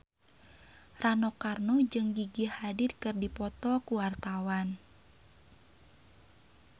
Rano Karno jeung Gigi Hadid keur dipoto ku wartawan